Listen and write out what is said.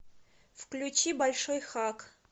включи большой хак